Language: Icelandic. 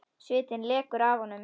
Svitinn lekur af honum.